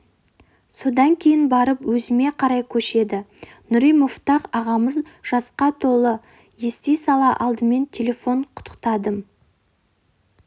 содан кейін барып өзіме қарай көшеді нүри муфтах ағамыз жасқа толды ести сала алдымен телефонмен құттықтадым